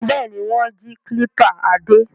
Bẹ́ẹ̀ ni, wọ́n jí kílípà Adé.